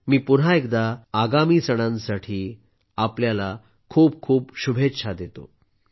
मी पुन्हा एकदा आगामी सणांसाठी खूप खूप शुभेच्छा देतो